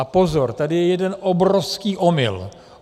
A pozor, tady je jeden obrovský omyl.